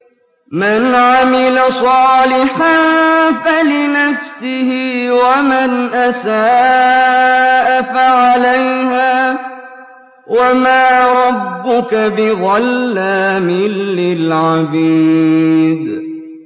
مَّنْ عَمِلَ صَالِحًا فَلِنَفْسِهِ ۖ وَمَنْ أَسَاءَ فَعَلَيْهَا ۗ وَمَا رَبُّكَ بِظَلَّامٍ لِّلْعَبِيدِ